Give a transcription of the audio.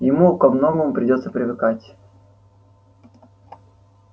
ему ко многому придётся привыкать